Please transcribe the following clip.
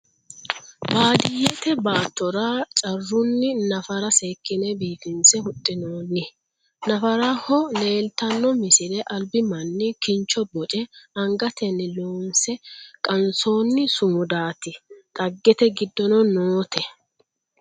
Baadiyeette baattora caruunni naffara seekkinne biiffinsse huxxinnoonni. Naffaraho leelittanno misile alibbi manni kinchcho bocce angateenni loonsse qaansoonni sumudaatti dhageette giddonno nootte